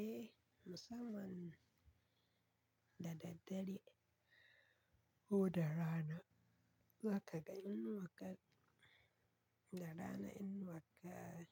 Eh, musamman da ɗaɗɗare ko da rana, za ka ga inuwakka da rana inuwakka